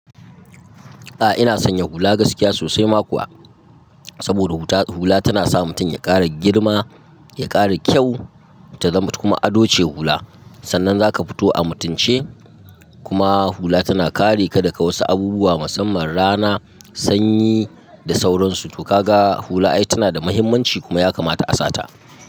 Ah ina sanya hula gaskiya sosai ma kuwa. Saboda huta, hula tana sa mutum ya ƙara girma, ya ƙara kyau, ta zamu kuma ado ce hula. Sannan za ka fito a mutunci kuma hula tana kare ka daga wasu abubuwa musamman rana, sanyi da sauransu. To ka ga hula ai tana da muhimmanci kuma ya kamata a sata.